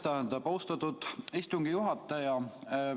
Jah, aitäh, austatud istungi juhataja!